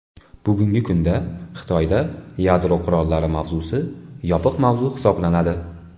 Bugungi kunda Xitoyda yadro qurollari mavzusi yopiq mavzu hisoblanadi.